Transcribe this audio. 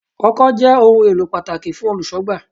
Ọkọ́ jẹ́ ohun èlò pàtàkì fún Olùṣọ́gbà.